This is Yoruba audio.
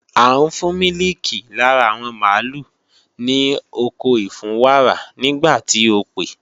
À ń fún mílìkì lára àwọn mààlúù ní oko ìfúnwàrà nígbà tí o pè